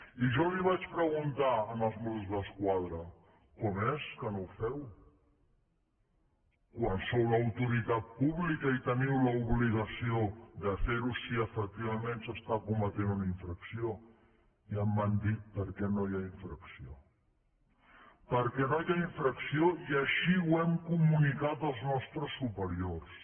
i jo els vaig preguntar als mossos d’esquadra com és que no ho feu quan sou l’autoritat pública i teniu l’obligació de fer ho si efectivament s’està cometent una infracció i em van dir perquè no hi ha infracció perquè no hi ha infracció i així ho hem comunicat als nostres superiors